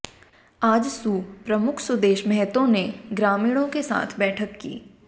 आजसू प्रमुख सुदेश महताे ने ग्रामीणाें के साथ बैठक की